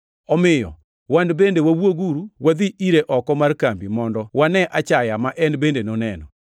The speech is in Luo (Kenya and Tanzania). Omiyo wan bende wawuoguru wadhi ire oko mar kambi mondo wane achaya ma en bende noneno.